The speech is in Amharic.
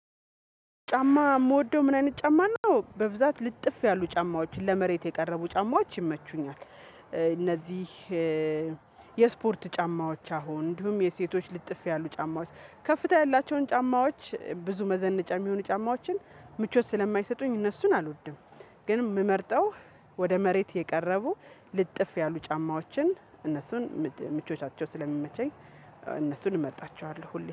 ጫማ የምወደው ምን አይነት ጫማ ነው? በብዛት ልጥፍ ያሉ ጫማዎችን ለመሬት የቀረቡ ጫማዎች ይመቹኛል። እነዚህ የስፖርት ጫማዎች አሁን እንዲሁም የሴቶች ልጥፍ ያሉ ጫማዎች ከፍታ ያላቸውን ጫማዎች ብዙ መዘነጫ የሚሆኑ ጫማዎችን ምቾት ስለማይሰጡኝ እነሱን አልወድም። ግን የምመርጠው ወደ መሬት የቀረቡ ልጥፍ ያሉ ጫማዎችን እነሱን ምቾቻቸው ስለሚመቸኝ እነሱን እመርጣቸዋለሁ